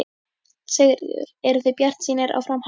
Sigríður: Eruð þið bjartsýnir á framhaldið?